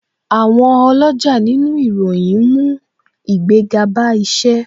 Àwọn oloja nínú ìròyìn ń mú ìgbéga bá isẹ